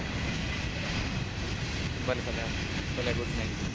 ભલેભલે ભલે Good night